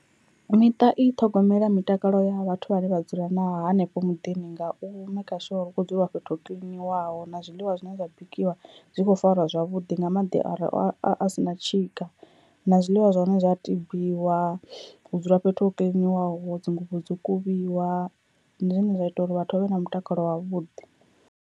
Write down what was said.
Miṱa i ṱhogomela mitakalo ya vhathu vhane vha dzula na hanefho muḓini nga u maker sure uri hu kho dzuliwa fhethu ho kiḽiniwaho na zwiḽiwa zwine zwa bikiwa zwi kho farwa zwavhuḓi nga maḓi are a si na tshika na zwiḽiwa zwa hone zwa tibiwa hu dzula fhethu ho kiḽiniwaho dzinguvho dzo kuvhiwa ndi zwine zwa ita uri vhathu vhavhe na mutakalo wavhuḓi.